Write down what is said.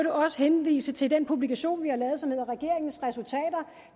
også henvise til den publikation vi har lavet som hedder regeringens resultater